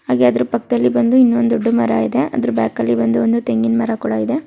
Persons ಇದ್ದಾರೆ. ಹಾಗೇ ಅದ್ರ್ ಪಕ್ದಲ್ಲಿ ಬಂದು ಇನ್ನೊಂದ್ ದೊಡ್ಡ ಮರ ಇದೆ. ಅದ್ರ್ ಬ್ಯಾಕಲ್ಲಿ ಬಂದು